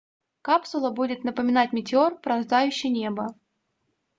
капсула будет напоминать метеор пронзающий небо